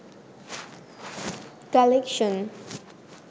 collection